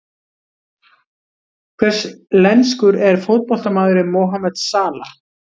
Hvers lenskur er fótboltamaðurinn Mohamed Salah?